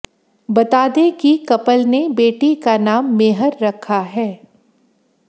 बता दें कि कपल ने बेटी का नाम मेहर रखा है